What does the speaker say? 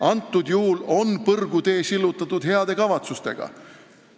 Praegusel juhul on põrgutee sillutatud heade kavatsustega.